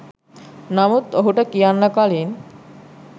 නමුත් ඔහුට කියන්න කලින්